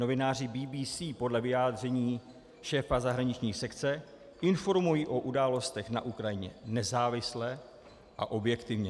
Novináři BBC podle vyjádření šéfa zahraniční sekce informují o událostech na Ukrajině nezávisle a objektivně.